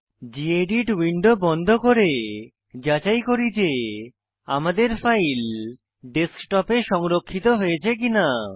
gedit window বন্ধ করে যাচাই করি যে আমাদের ফাইল ডেস্কটপ এ সংরক্ষিত হয়েছে কিনা